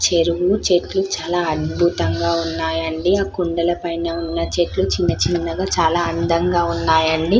చెరువు చెట్లు చాలా అద్భుతంగా ఉన్నాయ్ అండి ఆ కొండల పైన ఉన్న చెట్లు చిన్న చిన్న చానా అందంగా ఉన్నాయి అండి --